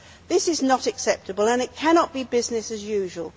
This is not acceptable and it cannot be business as usual.